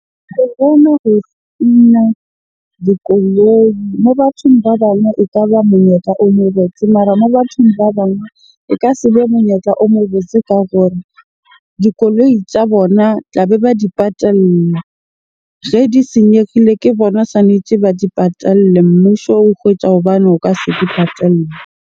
Ho spina dikoloi mo bathong ba bang ekaba monyetla o mo botse, mara moo bathong ba bang e ka se be monyetla o mo botse. Ka gore dikoloi tja bona tlabe ba di patella. Ge di senyegile ke bona swanetje ba di patalle. Mmuso o hobane o ka se di patalle.